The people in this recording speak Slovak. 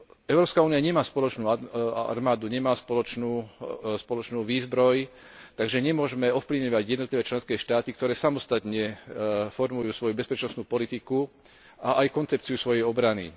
Európska únia nemá spoločnú armádu, nemá spoločnú výzbroj, takže nemôžeme ovplyvňovať jednotlivé členské štáty, ktoré samostatne formujú svoju bezpečnostnú politiku a aj koncepciu svojej obrany.